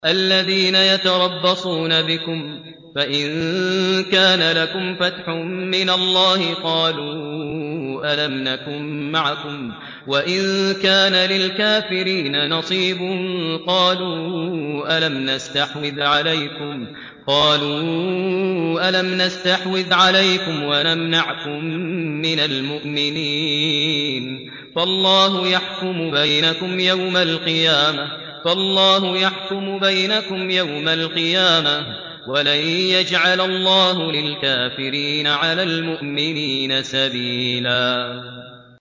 الَّذِينَ يَتَرَبَّصُونَ بِكُمْ فَإِن كَانَ لَكُمْ فَتْحٌ مِّنَ اللَّهِ قَالُوا أَلَمْ نَكُن مَّعَكُمْ وَإِن كَانَ لِلْكَافِرِينَ نَصِيبٌ قَالُوا أَلَمْ نَسْتَحْوِذْ عَلَيْكُمْ وَنَمْنَعْكُم مِّنَ الْمُؤْمِنِينَ ۚ فَاللَّهُ يَحْكُمُ بَيْنَكُمْ يَوْمَ الْقِيَامَةِ ۗ وَلَن يَجْعَلَ اللَّهُ لِلْكَافِرِينَ عَلَى الْمُؤْمِنِينَ سَبِيلًا